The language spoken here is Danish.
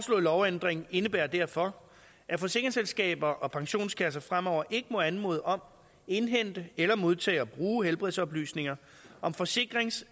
lovændring indebærer derfor at forsikringsselskaber og pensionskasser fremover ikke må anmode om indhente eller modtage og bruge helbredsoplysninger om forsikrings